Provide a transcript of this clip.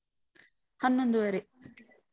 ಹನ್ನೊಂದುವರೆ.